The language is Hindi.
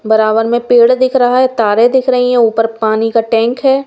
बराबर में पेड़ दिख रहा है तारे दिख रही है ऊपर पानी का टैंक है।